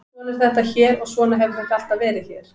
Svona er þetta hér og svona hefur þetta alltaf verið hér.